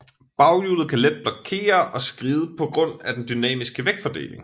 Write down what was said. Baghjulet kan let blokere og skride på grund af den dynamiske vægtfordeling